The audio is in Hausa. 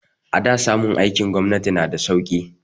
A da samun aikin gwamnati na da sauki